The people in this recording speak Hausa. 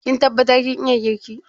Kin tabbatar kin iya girki?